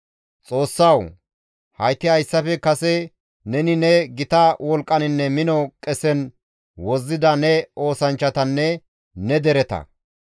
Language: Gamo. «Xoossawu! Hayti hayssafe kase neni ne gita wolqqaninne mino qesen wozzida ne oosanchchatanne ne dereta.